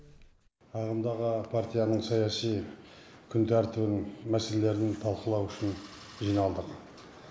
ағымдағы партияның саяси күн тәртібінің мәселелерін талқылау үшін жиналдық